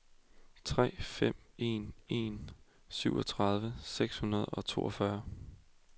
tre fem en en syvogtredive seks hundrede og toogfyrre